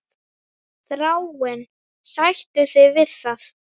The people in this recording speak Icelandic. Þráinn, sættu þig við það!